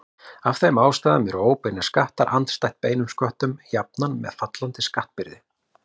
Af þeim ástæðum eru óbeinir skattar andstætt beinum sköttum jafnan með fallandi skattbyrði.